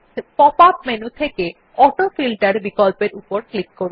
pop up menu থেকে অটোফিল্টের বিকল্পের উপর ক্লিক করুন